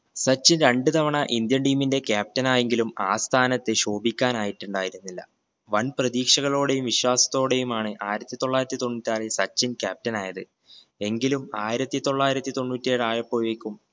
സച്ചിൻ രണ്ട് തവണ indian team ന്റെ captain ആയെങ്കിലും ആ സ്ഥാനത്ത് ശോഭിക്കാനായിറ്റുണ്ടായിരുന്നില്ല. വൻ പ്രതീക്ഷകളോടെയും വിശ്വാസത്തോടെയുമാണ് ആയിരത്തി തൊള്ളായിരത്തി തൊണ്ണുറ്റാറിൽ സച്ചിൻ captain ആയത് എങ്കിലും ആയിരത്തി തൊള്ളായിരത്തി തൊണ്ണൂറ്റേഴായപ്പോഴേക്കും